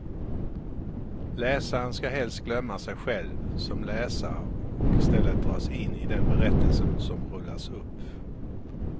Läsaren ska helst glömma sig själv som läsare och istället dras in i den berättelse som rullas upp.